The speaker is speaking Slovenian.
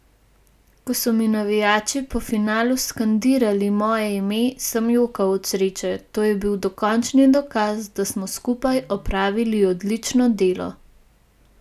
Ko so mi navijači po finalu skandirali moje ime, sem jokal od sreče, to je bil dokončni dokaz, da smo skupaj opravili odlično delo.